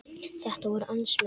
Þetta voru hans menn.